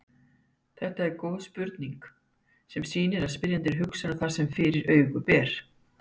Þetta er góð spurning sem sýnir að spyrjandi hugsar um það sem fyrir augu ber.